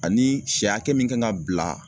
Ani sɛ hakɛ min kan ka bila